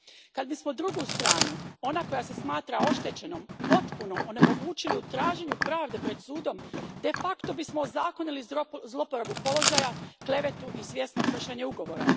Kad bismo drugu stranu, onu koja se smatra oštećenom, potpuno onemogućili u traženju pravde pred sudom, de facto bismo ozakonili zloporabu položaja, klevetu i svjesno kršenje ugovora.